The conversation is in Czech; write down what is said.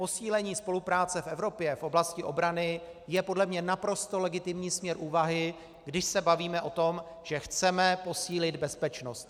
Posílení spolupráce v Evropě v oblasti obrany je podle mě naprosto legitimní směr úvahy, když se bavíme o tom, že chceme posílit bezpečnost.